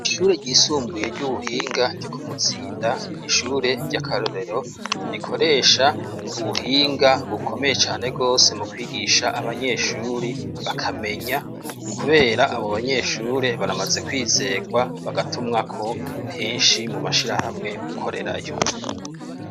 Ishure ryisumbuye ry'ubuhinga ryo ku Muzinda ni ishure ry'akarorero rikoresha ubuhinga bukomeye cane rwose mu kwigisha abanyeshure bakamenya kubera abo banyeshure baramaze kwizerwa bagatumwako henshi mu mashirahamwe gukorerayo.